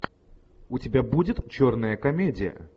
у тебя будет черная комедия